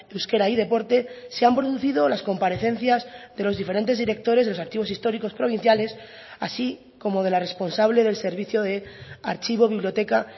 euskera y deporte se han producido las comparecencias de los diferentes directores de los archivos históricos provinciales así como de la responsable del servicio de archivo biblioteca